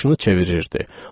Başını çevirirdi.